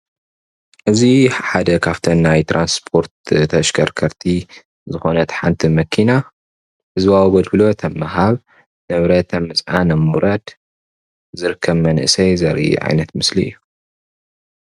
እዙይ ሓደ ካብተን ናይ ትራንስፖርት ተሽከርከርቲ ዝኮነት ሓንቲ መኪና ህዝባዊ ኣገልግሎት ኣብ ምሃብ ንብረት ኣብ ምፅዓን ኣብ ምውራድ ዝርከብ መንእሰይ ዘርኢ ዓይነት ምስሊ እዩ።